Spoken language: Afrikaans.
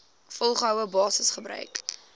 volgehoue basis gebruik